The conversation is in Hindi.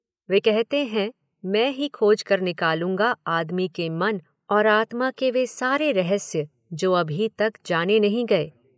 वे कहते हैं मैं ही खोज कर निकालूंगा आदमी के मन और आत्मा के वे सारे रहस्य जो अभी तक जाने नहीं गए।